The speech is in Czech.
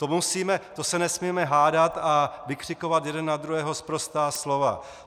To se nesmíme hádat a vykřikovat jeden na druhého sprostá slova.